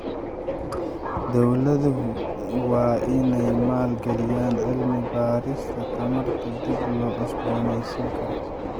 Dowladuhu waa in ay maal galiyaan cilmi baarista tamarta dib loo cusbooneysiin karo.